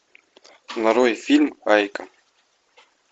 нарой фильм айка